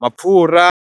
mapfhura.